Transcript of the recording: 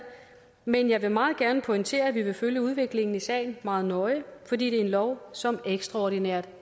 men jeg vil meget gerne pointere at vi vil følge udviklingen i sagen meget nøje fordi det er en lov som ekstraordinært